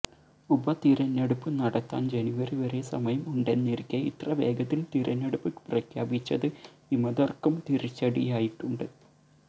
ഉപതിരഞ്ഞെടുപ്പ് നടത്താൻ ജനുവരി വരെ സമയം ഉണ്ടെന്നിരിക്കെ ഇത്ര വേഗത്തിൽ തിരഞ്ഞെടുപ്പ് പ്രഖ്യാപിച്ചത് വിമതർക്കും തിരിച്ചടിയായിട്ടുണ്ട്